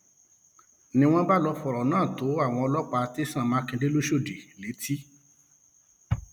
um ni wọn bá lọọ fọrọ náà um tó àwọn ọlọpàá tẹsán mákindè lọsọdọdì létí